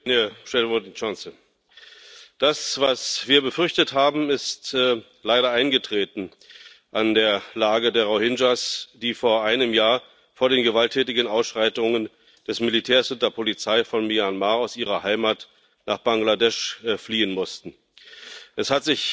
Herr Präsident! Das, was wir befürchtet haben, ist leider eingetreten. An der Lage der Rohingya, die vor einem Jahr vor den gewalttätigen Ausschreitungen des Militärs und der Polizei von Myanmar aus ihrer Heimat nach Bangladesch fliehen mussten, hat sich